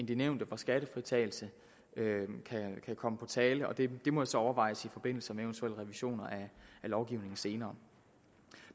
de nævnte hvor skattefritagelse kan komme på tale og det må så overvejes i forbindelse med en eventuel revision af lovgivningen senere